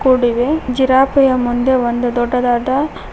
ರೋಡಿವೆ ಜಿರಾಪೆಯ ಮುಂದೆ ಒಂದು ದೊಡ್ಡದಾದ--